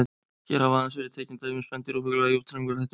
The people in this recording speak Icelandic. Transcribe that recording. Hér hafa aðeins verið tekin dæmi um spendýr og fugla í útrýmingarhættu.